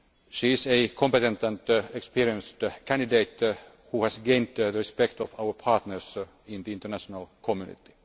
She is a competent and experienced candidate, who has gained the respect of our partners in the international community.